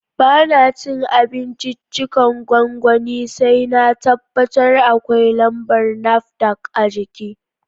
Ba na cin abinciccikan gwangwani sai na tabbatar akwai lambar NAFDAC a jiki